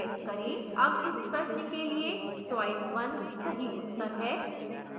अब इस प्रश्न के लिए choice 1 सही उत्तर है